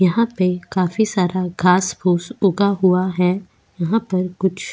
यहां पे काफी सारा घास फूस उगा हुआ है यहां पर कुछ.